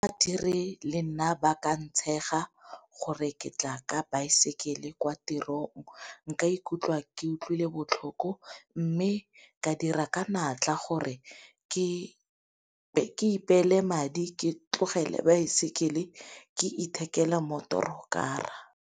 Badiri le nna ba ka ntshega gore ke tla ka baesekele kwa tirong nka ikutlwa ke utlwile botlhoko, mme ka dira ka natla gore ke ipeele madi ke tlogele baesekele ke ithekele motorokara.